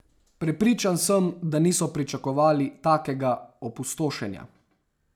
Prepričan sem, da niso pričakovali takega opustošenja.